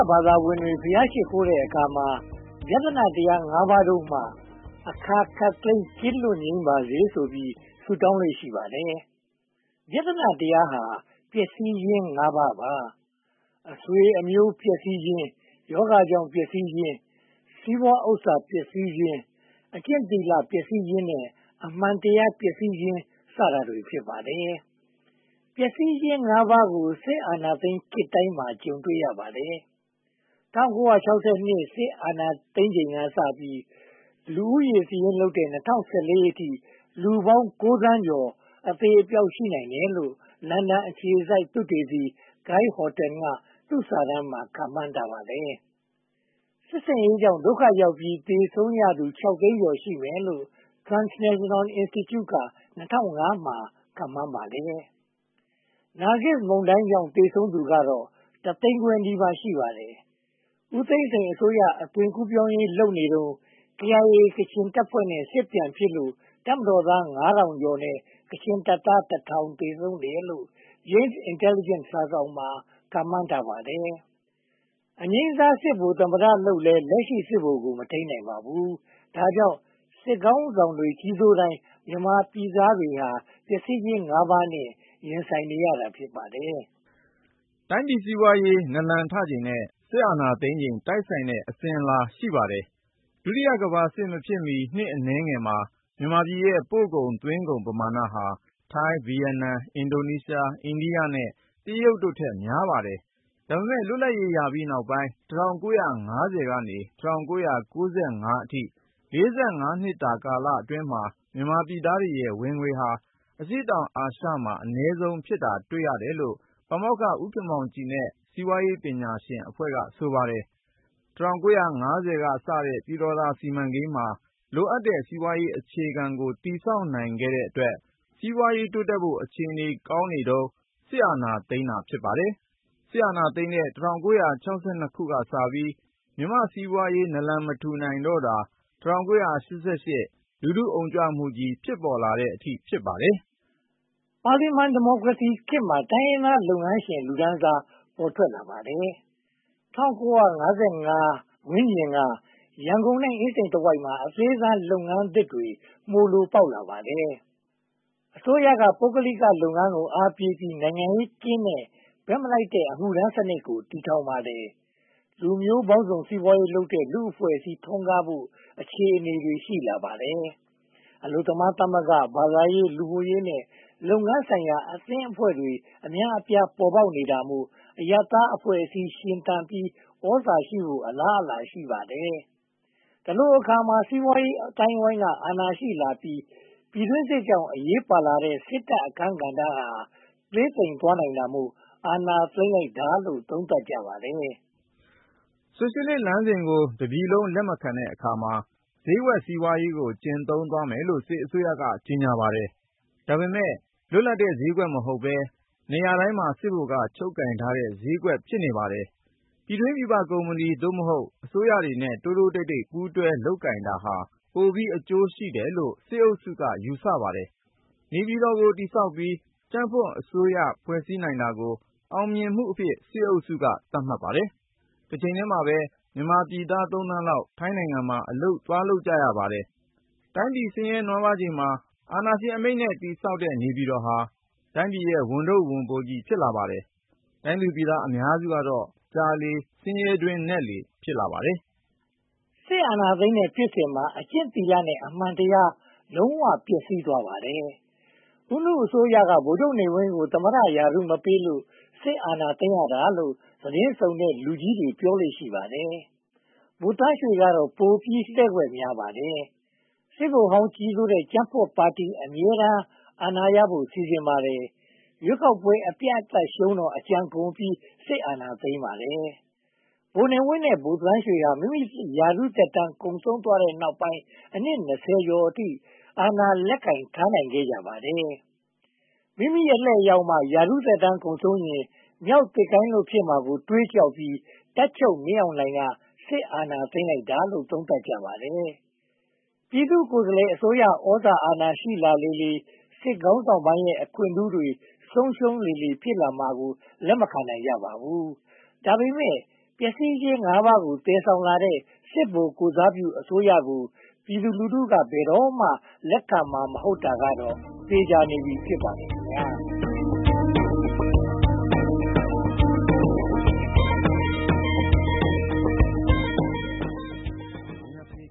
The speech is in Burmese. ဘာသာဝင်တွေ ဘုရားရှစ်ခိုးတဲ့အခါမှာ ဗျသနတရား (၅) ပါးတို့မှ အခါခပ်သိမ်း ကင်းလွတ်ငြိမ်းပါစေဆိုပြီး ဆုတောင်းလေ့ ရှိပါတယ်။ ဗျသနတရားဟာ ပျက်စီးခြင်း (၅) ပါး။ အဆွေအမျိုး ပျက်စီးခြင်း၊ ရောဂါကြောင့်ပျက်စီးခြင်း၊ စီးပွားဥစ္စာပျက်စီးခြင်း၊ အကျင့်သီလပျက်စီးခြင်း နဲ့ အမှန်တရားပျက်စီးခြင်း စတာတွေ ဖြစ်ပါတယ်။ ပျက်စီးခြင်း (၅) ပါးကို စစ်အာဏာရှင်ခေတ်တိုင်းမှာ ကြုံတွေ့ရပါတယ်။ ၁၉၆၂ စစ်အာဏာသိမ်းချိန်ကစပြီး လူဦးရေစာရင်းလုပ်တဲ့ ၂၀၁၄ အထိ လူပေါင်း (၉) သန်းကျော် အသေအပျောက် ရှိနိုင်တယ်လို့ လန်ဒန်အခြေစိုက် သုတေသီ Guy Horton က သူ့စာတမ်းမှာ ခန့်မှန်းထားပါတယ်။ စစ်ဆင်ရေးကြောင့် ဒုက္ခရောက်ပြီး သေဆုံးရသူ (၆) သိန်းကျော် ရှိမယ်လို့ Transnational Institute က ၂၀၀၅ မှာ ခန့်မှန်းပါတယ်။ နာဂစ်မုန်တိုင်းကြောင့် သေဆုံးသူကတော့ တသိန်းခွဲနီးပါး ရှိပါတယ်။ ဦးသိန်းစိန်အစိုးရ အသွင်ကူးပြောင်းရေးလုပ်နေတုန်း KIA ကချင်တပ်ဖွဲ့နဲ့ စစ်ပြန်ဖြစ်လို့ တပ်မတော်သား (၅၀၀၀) နဲ့ ကချင်တပ်သား (၁၀၀၀) သေဆုံးတယ်လို့ Jane’s Intelligence စာစောင်က ခန့်မှန်းပါတယ်။ အငြိမ်းစား စစ်ဗိုလ်သမ္မတလုပ်လည်း လက်ရှိစစ်ဗိုလ်ကို မထိန်းနိုင်ပါဘူး။ ဒါကြောင့် စစ်ခေါင်းဆောင်တွေ ကြီးစိုးတိုင်း မြန်မာပြည်သားတွေဟာ ပျက်စီးခြင်း (၅) ပါး ရင်ဆိုင်နေရတာ ဖြစ်ပါတယ်။ တိုင်းပြည်စီးပွားရေး နာလန်ထချိန်နဲ့ စစ်အာဏာသိမ်းချိန် တိုက်ဆိုင်တဲ့ အစဉ်အလာ ရှိပါတယ်။ ဒုတိယကမ္ဘာစစ်မဖြစ်မီ နှစ်အနည်းငယ်မှာ မြန်မာပြည်ရဲ့ ပို့ကုန်သွင်းကုန် ပမာဏဟာ ထိုင်း၊ ဗိယက်နမ်၊ အင်ဒိုနေရှား၊ အိန္ဒိယနဲ့ တရုတ်တို့ထက် များပါတယ်။ ဒါပေမဲ့ လွတ်လပ်ရေးရပြီးနောက်ပိုင်း ၁၉၅၀ က ၁၉၉၅ အထိ (၄၅) နှစ်ကာလမှာ မြန်မာပြည်သားတွေရဲ့ ဝင်ငွေဟာ အရှေ့တောင်အာရှမှာ အနည်းဆုံး ဖြစ်နေတာ တွေ့ရတယ်လို့ ပါမောက္ခ ဦးခင်မောင်ကြည်နဲ့ စီးပွားရေးပညာရှင်အဖွဲ့က ဆိုပါတယ်။ ၁၉၅၀ ကစတဲ့ ပြည်တော်သာစီမံကိန်းမှာ လိုအပ်တဲ့ စီးပွားရေးအခြေခံကို တည်ဆောက်နိုင်တဲ့အတွက် စီးပွားရေးတိုးတက်ဖို့ အခြေအနေကောင်းနေတုန်း စစ်အာဏာသိမ်းတာ ဖြစ်ပါတယ်။ စစ်အာဏာသိမ်းတဲ့ ၁၉၆၂ ကစပြီး မြန်မာစီးပွားရေး နာလန်မထူနိုင်တော့တာ ၁၉၈၈ လူထုအုံကြွမှုကြီး ဖြစ်ပေါ်လာတဲ့အထိပါပဲ။ ပါလီမန်ဒီမိုကရေစီခေတ်မှာ တိုင်းရင်းသားလုပ်ငန်းရှင် လူတန်းစား ပေါ်ထွက်လာပါတယ်။ ၁၉၅၀ ဝန်းကျင်က ရန်ကုန်နဲ့ အင်းစိန်တဝိုက်မှာ အသေးစားလုပ်ငန်းသစ်တွေ မှိုလိုပေါက်လာပါတယ်။ အစိုးရက ပုဂ္ဂလိကလုပ်ငန်းကို အားပေးပြီး နိုင်ငံရေးကင်းတဲ့ ဘက်မလိုက်တဲ့ အမှုထမ်းစနစ်ကို တည်ထောင်ပါတယ်။ လူမျိုးပေါင်းစုံ စီးပွားရေးလုပ်တဲ့ လူ့အဖွဲ့အစည်း ထွန်းကားဖို့ အခြေအနေတွေ ရှိလာပါတယ်။ အလုပ်သမားသမဂ္ဂ၊ ဘာသာရေး၊ လူမှုရေးနဲ့ လုပ်ငန်းဆိုင်ရာ အသင်းအဖွဲ့တွေ အများအပြား ပေါ်ပေါက်နေတာမို့ အရပ်သားအဖွဲ့အစည်း ရှင်သန်ပြီး သြဇာရှိလာဖို့ အလားအလာ ရှိပါတယ်။ ဒီလိုအခါမှာ စီးပွားရေးအသိုင်းအဝိုင်းက အာဏာရှိလာပြီး ပြည်တွင်းစစ်ကြောင့် အရေးပါလာတဲ့ စစ်တပ်အခန်းကဏ္ဍဟာ သေးသိမ်သွားနိုင်တာမို့ အာဏာသိမ်းလိုက်တာလို့ သုံးသပ်ကြပါတယ်။ ဆိုရှယ်လစ်လမ်းစဉ်ကို တပြည်လုံးက လက်မခံတဲ့အခါမှာ ဈေးကွက်စီးပွားရေးကို ကျင့်သုံးမယ်လို့ စစ်အစိုးရက ကြေညာပါတယ်။ ဒါပေမဲ့ လွတ်လပ်တဲ့ ဈေးကွက်မဟုတ်ဘဲ နေရာတိုင်းစစ်ဗိုလ်က ချုပ်ကိုင်ထားတဲ့ ဈေးကွက် ဖြစ်နေပါတယ်။ ပြည်တွင်းပြည်ပ ကုမ္ပဏီ (သို့မဟုတ်) အစိုးရတွေနဲ့ တိုးတိုးတိတ်တိတ် ပူးတွဲလုပ်ကိုင်တာဟာ ပိုပြီးအကျိုးရှိတယ်လို့ စစ်အုပ်စုက ယူဆပါတယ်။ နေပြည်တော် တည်ဆောက်ပြီး ကြံ့ဖွံ့အစိုးရ ဖွဲ့စည်းနိုင်တာကို အောင်မြင်မှုအဖြစ် စစ်အုပ်စုက သတ်မှတ်ပါတယ်။ တချိန်တည်းမှာပဲ မြန်မာပြည်သား သုံးသန်းလောက် ထိုင်းနိုင်ငံမှာ အလုပ်လုပ်နေကြပါတယ်။ တိုင်းပြည်ဆင်းရဲနွမ်းပါးချိန်မှာ အာဏာရှင်အမိန့််နဲ့ တည်ဆောက်တဲ့ နေပြည်တော်ဟာ တိုင်းပြည်ရဲ့ ဝန်ထုပ်ဝန်ပိုး ဖြစ်လာပါတယ်။ တိုင်းသူပြည်သား အများစုကတော့ ကြာလေဆင်းရဲတွင်းနက်လေ ဖြစ်နေပါတယ်။ စစ်အာဏာသိမ်းတဲ့ဖြစ်စဉ်မှာ အကျင့်သီလနဲ့ အမှန်တရား လုံးဝပျက်စီးသွားပါတယ်။ ဦးနုအစိုးရက ဗိုလ်ချုပ်နေဝင်းကို သမ္မတရာထူး မပေးလို့ စစ်အာဏာသိမ်းရတာလို့ သတင်းစုံတဲ့ လူကြီးတွေပြောလေ့ ရှိပါတယ်။ ဗိုလ်သန်းရွှေကတော့ ပိုပြီးလှည့်ကွက်များပါတယ်။ စစ်ဗိုလ်ဟောင်းကြီးစိုးတဲ့ ကြံ့ဖွံ့ပါတီ အမြဲတမ်း အာဏာရဖို့ စီစဉ်ပါတယ်။ ရွေးကောက်ပွဲ အပြတ်အသတ်ရှုံးတော့ အကြံကုန်ပြီး စစ်အာဏာသိမ်းပါတယ်။ ဗိုလ်နေဝင်းနဲ့ ဗိုလ်သန်းရွှေဟာ မိမိရာထူးသက်တမ်း ကုန်ဆုံးသွားတဲ့နောက်ပိုင်း အနှစ် (၂၀) ကျော်အထိ အာဏာ လက်ကိုင်ထားနိုင်ခဲ့ကြပါတယ်။ မိမိအလှည့်ရောက်မှ ရာထူးသက်တမ်းကုန်ရင် မျောက်သစ်ကိုင်းလွတ် ဖြစ်ရမှာကို တွေးကြောက်ပြီး တပ်ချုပ်မင်းအောင်လှိုင်က စစ်အာဏာသိမ်းတာလို့ သုံးသပ်ကြပါတယ်။ ပြည်သူကိုယ်စားလှယ်အစိုးရ သြဇာအာဏာရှိလာလေလေ စစ်ခေါင်းဆောင်ပိုင်းရဲ့ အခွင့်ထူးတွေ ဆုံးရှုံးလေလေ ဖြစ်လာမှာကို လက်မခံနိုင်ကြပါဘူး။ ဒါပေမဲ့ ပျက်စီးခြင်း (၅) ပါးကို သယ်ဆောင်လာတဲ့ စစ်ဗိုလ်ကိုယ်စားပြုအစိုးရကို ပြည်သူလူထုက ဘယ်တော့မှ လက်ခံမှာ မဟုတ်တာကတော့ သေချာနေပြီ ဖြစ်ပါတယ်။